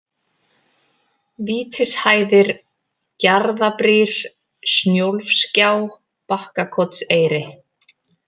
Vítishæðir, Gjarðabrýr, Snjólfsgjá, Bakkakotseyri